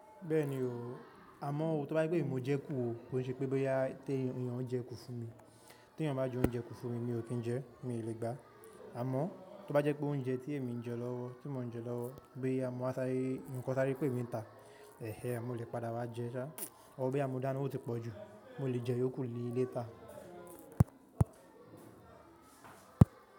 Bẹ́ẹ̀ni o, àmọ́ ó, tó bá jẹ́ pé èmi mo jẹ kú ò, kó n ṣe pé bóyá tí iyàn jẹ kú fún mi. Tè èyàn bá jẹ́ óunjẹ kú fún mi, mi ò kí ń jẹ́, mi ò lè gbà. Àmọ́ tó bá jẹ́ pé òunjẹ tí èmi ń jẹ lọ́wọ́, tí mò ń jẹ lọ́wọ́, bóyá mọ́ wà sáré ń, kọ́ sáré pé mi ń tà, ẹ́hẹ́n mo lè padà wá jẹ́ sá, bọ́ bóyá mo dáná ó ti pọ̀ jù, mo lè jẹ́ iyó kù ni later.